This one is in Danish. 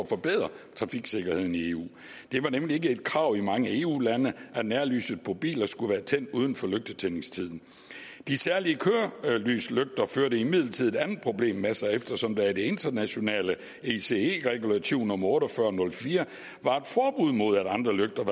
forbedre trafiksikkerheden i eu for det var nemlig ikke et krav i mange eu lande at nærlyset på biler skulle være tændt uden for lygtetændingstiden de særlige kørelyslygter førte imidlertid et andet problem med sig eftersom der i det internationale ece regulativ nummer otte og fyrre til nul fire var et forbud mod at andre lygter